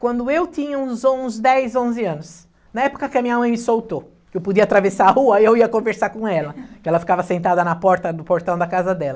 quando eu tinha uns on, uns dez, onze anos, na época que a minha mãe me soltou, que eu podia atravessar a rua e eu ia conversar com ela, que ela ficava sentada na porta no portão da casa dela.